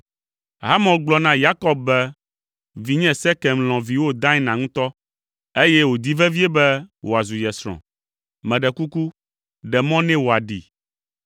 Hamor gblɔ na Yakob be, “Vinye Sekem lɔ̃ viwò Dina ŋutɔ, eye wòdi vevie be wòazu ye srɔ̃. Meɖe kuku, ɖe mɔ nɛ wòaɖee.